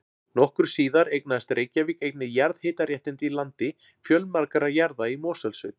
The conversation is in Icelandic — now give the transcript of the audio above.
Nokkru síðar eignaðist Reykjavík einnig jarðhitaréttindi í landi fjölmargra jarða í Mosfellssveit.